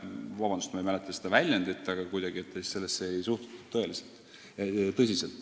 Vabandust, ma ei mäleta täpselt seda väljendit, aga kuidagi nii see oli.